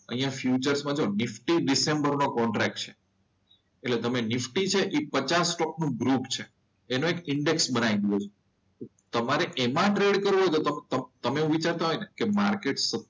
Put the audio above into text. અહીંયા ફિચર્સમાં જુઓ નિફ્ટી ડિસેમ્બર નો કોન્ટેક્ટ છે. એટલે નિફ્ટી જે છે એ પચાસ સ્ટોક નું ગ્રુપ છે. એનો એક ઇન્ડેક્સ બનાવી દઈએ. તમારે એમાં ટ્રેડ કરવો છે તો તમે એવું વિચારતા હોય ને કે માર્કેટ